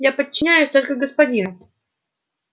я подчиняюсь только господину